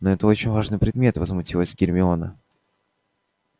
но это очень важный предмет возмутилась гермиона